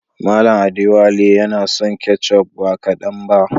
Mallam Adewale yana son ketchup ba kadan ba.